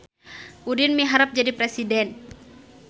Udin miharep jadi presiden